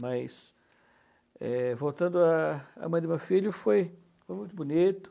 Mas... é, voltando à à mãe do meu filho, foi, foi muito bonito.